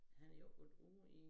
Han er jo ikke været ude i